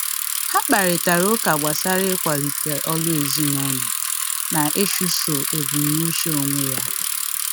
Ha kparịtari ụka gbasara ịkwalite ọrụ ezinụlọ na ịchụso ebumnuche onwe ya.